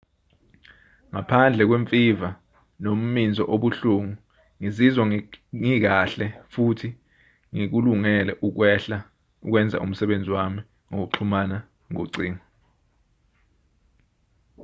ngaphandle kwemfiva nomminzo obuhlungu ngizizwa ngikahle futhi ngikulungele ukwenza umsebenzi wami ngokuxhumana ngocingo